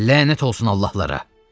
Lənət olsun allahlara!